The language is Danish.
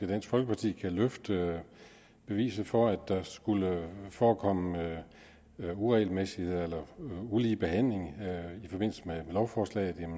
dansk folkeparti kan føre bevis for at der skulle forekomme uregelmæssigheder eller ulige behandling i forbindelse med lovforslaget